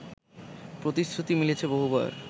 প্রতিশ্রুতি মিলেছে বহুবার